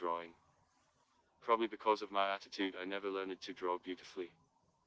джой